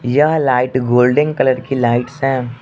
यह light golden colour की lights है।